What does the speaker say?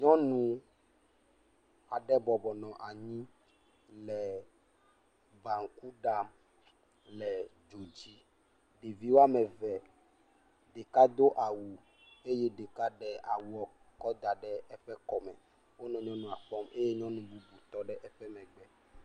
nyɔnu aɖe bɔbɔnɔ anyi le banku ɖam le dzo dzi ɖevi wɔmeve ɖeka dó awu eye ɖeka ɖe awuɔ kɔ daɖe eƒe kɔ me nɔ nyɔnua kpɔm eye nyɔnu bubu tɔɖe eƒe megbe